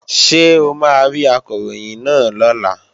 Ṣé o máa rí Akọ̀ròyìn náà lọ́la?